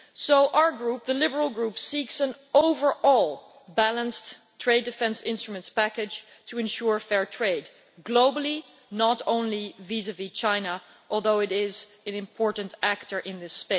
So our Group, the Liberal Group, is seeking an overall balanced trade defence instruments package to ensure fair trade globally, not only vis vis China, although it is an important player here.